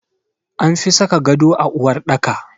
An fi saka gado a uwarɗaka.